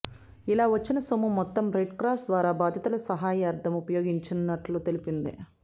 ఇలా వచ్చిన సొమ్ము మొత్తం రెడ్ క్రాస్ ద్వారా బాధితుల సహాయార్ధం ఉపయోగించనున్నట్లు తెలిపింది